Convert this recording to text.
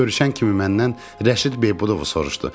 Görüşən kimi məndən Rəşid Beybudovu soruşdu.